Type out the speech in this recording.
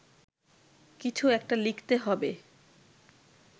কিছু একটা লিখতে হবে